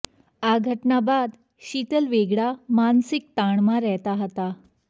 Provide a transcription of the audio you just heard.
આ ઘટના બાદ શીતલ વેગડા માનસિક તાણમાં રહેતા હતા